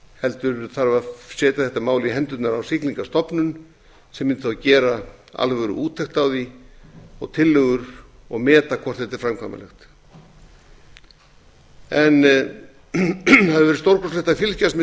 heldur það að setja þetta mál í hendurnar á siglingastofnun sem mundi þá gera alvöruúttekt á því og tillögur og meta hvort þetta er framkvæmanlegt það hefur verið stórkostlegt að fylgjast með